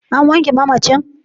An wanke mamacin?